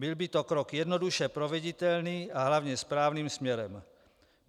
Byl by to krok jednoduše proveditelný a hlavně správným směrem.